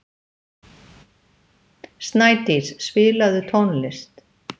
Snædís, spilaðu tónlist.